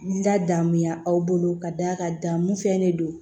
N ladamuya aw bolo ka d'a kan dan mun fɛn de don